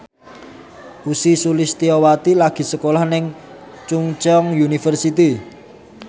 Ussy Sulistyawati lagi sekolah nang Chungceong University